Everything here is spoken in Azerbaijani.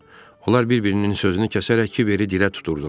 Onlar bir-birinin sözünü kəsərək kiberi dilə tuturdular.